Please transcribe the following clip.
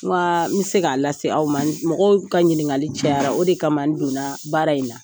Wa n mi se k'a lase aw ma, mɔgɔw ka ɲininkali cɛyara, o de kama n donna baara in na.